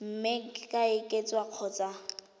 mme e ka oketswa kgotsa